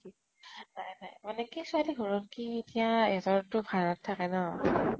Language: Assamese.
নাই নাই । মানে কি ছোৱালী ঘৰৰ কি এতিয়া তো ভাড়া ত থাকে ন ।